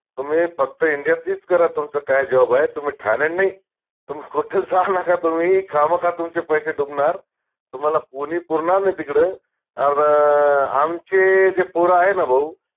तुम्ही फक्त india तलीच करा तुमचं काय job आय तुम्ही थायलंड नाई तुम्ही कुठंच जा नका तुम्ही खामखा तुमचे पैशे डुबनार तुम्हाला कोनी पुरनार नाई तिकडं अर आमचे जे पोर आहे न भाऊ